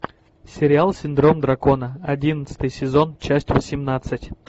сериал синдром дракона одиннадцатый сезон часть восемнадцать